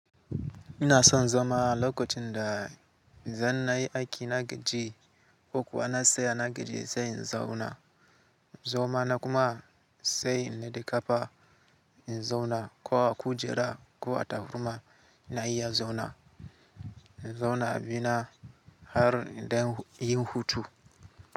Ina son zama lokacin da zan na yi aiki na gaji, ko kuwa na tsaya na gaji sai in zauna, zama na kuma sai na dika fa in zauna. Ko a kujera ko a takurma ina iya zauna, in zauna a bina har in dai yi hutu.